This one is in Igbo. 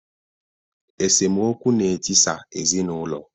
Esemokwu na-etisa ezinụlọ